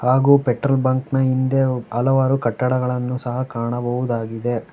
ಹಾಗು ಪೆಟ್ರೋಲ್ ಬಂಕ್ನ ಹಿಂದೆ ಹಲವಾರು ಕಟ್ಟಡಗಳನ್ನು ಸಹಾ ಕಾಣಬಹುದಾಗಿದೆ.